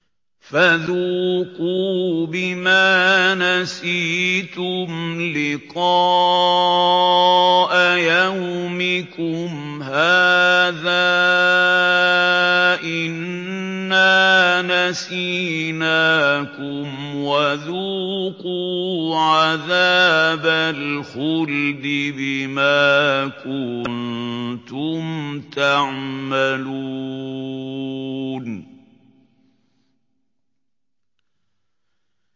فَذُوقُوا بِمَا نَسِيتُمْ لِقَاءَ يَوْمِكُمْ هَٰذَا إِنَّا نَسِينَاكُمْ ۖ وَذُوقُوا عَذَابَ الْخُلْدِ بِمَا كُنتُمْ تَعْمَلُونَ